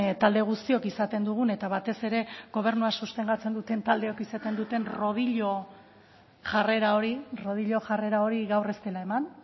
talde guztiok izaten dugun eta batez ere gobernua sostengatzen duten taldeek izaten duten rodillo jarrera hori rodillo jarrera hori gaur ez dela eman